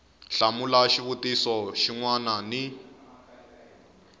hlamula xivutiso xin wana ni